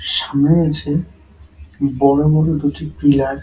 সামনে আছে বড় বড় দুটি পিলার ।